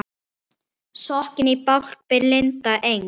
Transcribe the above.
Sokkinn í bálk blinda Eng